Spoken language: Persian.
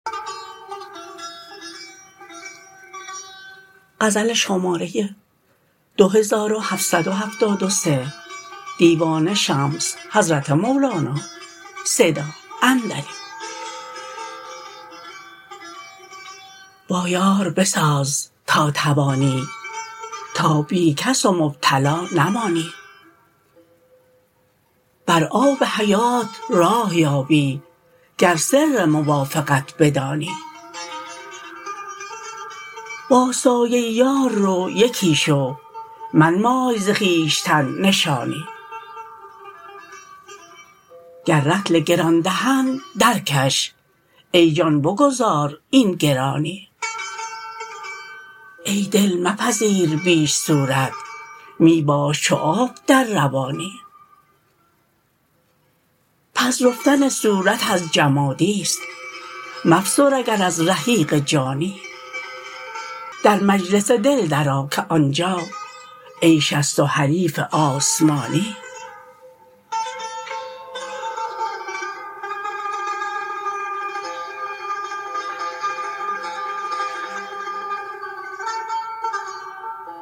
با یار بساز تا توانی تا بی کس و مبتلا نمانی بر آب حیات راه یابی گر سر موافقت بدانی با سایه یار رو یکی شو منمای ز خویشتن نشانی گر رطل گران دهند درکش ای جان بگذار این گرانی ای دل مپذیر بیش صورت می باش چو آب در روانی پذرفتن صورت از جمادی است مفسر اگر از رحیق جانی در مجلس دل درآ که آن جا عیش است و حریف آسمانی